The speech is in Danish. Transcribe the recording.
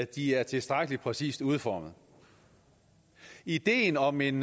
de er tilstrækkelig præcist udformet ideen om en